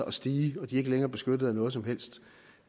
at stige og de ikke længere er beskyttet af noget som helst